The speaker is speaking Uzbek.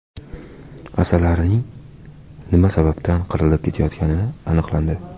Asalarilarning nima sababdan qirilib ketayotgani aniqlandi.